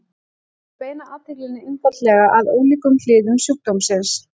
Þau beina athyglinni einfaldlega að ólíkum hliðum sjúkdómsins.